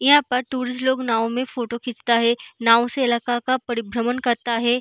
यहां पर टूरिस्ट लोग नाव में फोटो खींचता है नाव से इलाका का परिभ्रमण करता है।